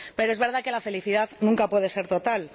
Pero es verdad que la felicidad nunca puede ser total.